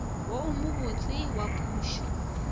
wo o mobotse wa pušo